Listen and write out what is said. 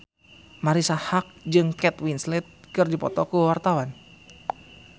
Marisa Haque jeung Kate Winslet keur dipoto ku wartawan